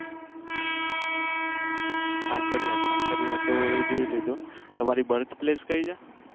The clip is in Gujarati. કાંકરિયા કાંકરિયા તો જોઈ લીધું. તમારી birth place કયી છે?